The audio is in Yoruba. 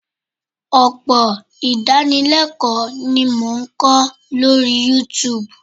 Ọpọ̀ idánilẹ́kọ̀lọ́ ni mo n ko lórí Youtube